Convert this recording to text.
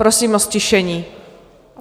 Prosím o ztišení.